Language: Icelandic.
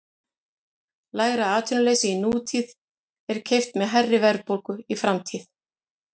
Lægra atvinnuleysi í nútíð er keypt með hærri verðbólgu í framtíð.